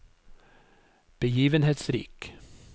begivenhetsrik